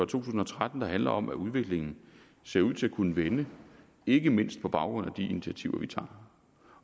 tusind og tretten der handler om at udviklingen ser ud til at kunne vende ikke mindst på baggrund af de initiativer vi tager